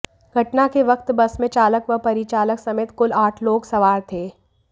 घटना के वक्त बस में चालक व परिचालक समेत कुल आठ लोग सवार थे